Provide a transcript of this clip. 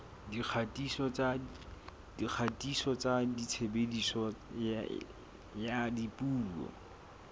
dikgatiso tsa tshebediso ya dipuo